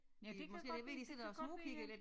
Ja det kan godt være det kan godt være